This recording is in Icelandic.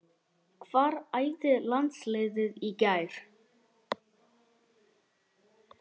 Hvar æfði landsliðið í gær?